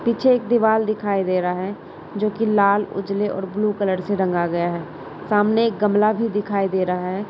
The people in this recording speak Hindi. पीछे एक दीवाल दिखाई दे रहा है जोकि लाल उज्जले और ब्लू कलर से रंगा गया है। सामने एक गमला भी दिखाई दे रहा है।